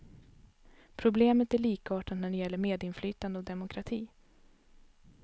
Problemet är likartat när det gäller medinflytande och demokrati.